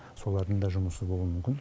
солардың да жұмысы болуы мүмкін